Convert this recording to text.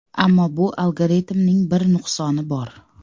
Ammo bu algoritmning bir nuqsoni bor.